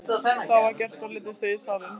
Það var gert og leiddust þau í salinn.